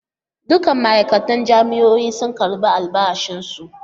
Dukkan ma'aikatan jami'o'in sun karbi albashi su.